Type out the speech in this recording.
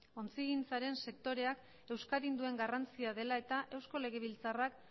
ontzigintzaren sektoreak euskadin duen garrantzia dela eta eusko legebiltzarrak